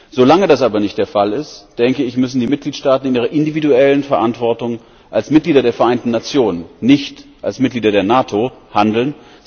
Solange das aber nicht der Fall ist müssen die Mitgliedstaaten in ihrer individuellen Verantwortung als Mitglieder der Vereinten Nationen, nicht als Mitglieder der NATO, handeln.